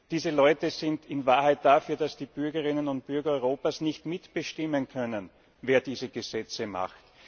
Diese Leute sind in Wahrheit dafür, dass die Bürgerinnen und Bürger Europas nicht mitbestimmen können, wer diese Gesetze macht.